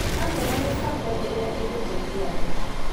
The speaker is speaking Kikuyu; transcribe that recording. Hamwe na mĩbango ĩrĩa ĩngĩteithia andũ.